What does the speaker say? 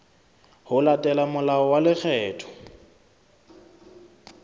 ho latela molao wa lekgetho